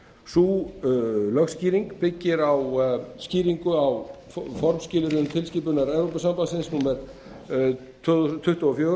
sú lögskýring byggir á skýringu á formskilyrðum tilskipunar evrópusambandsins tvö þúsund og ein tuttugu